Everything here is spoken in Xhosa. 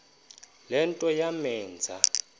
le nto yamenza